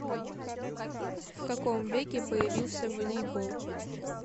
в каком веке появился волейбол